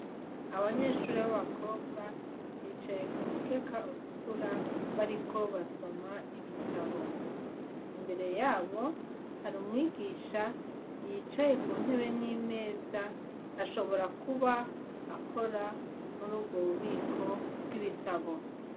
Abanyeshure b'abakobwa bicaye kumukeka utukura bariko basoma ibitabo imbere yabo hari umwigisha yicaye ku ntebe n'imeza ashobora kuba akora murubwo bubiko bw'ibitabo.